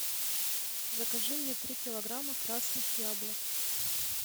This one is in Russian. закажи мне три килограмма красных яблок